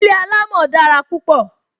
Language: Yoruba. Ilé alamo dára púpọ